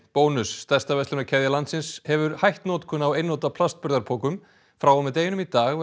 bónus stærsta verslanakeðja landsins hefur hætt notkun á einnota plastburðarpokum frá og með deginum í dag